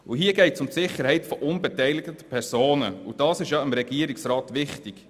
Hier geht es um die Sicherheit von unbeteiligten Personen, und diese ist ja dem Regierungsrat wichtig.